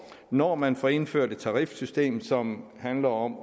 når man får indført et tarifsystem som handler om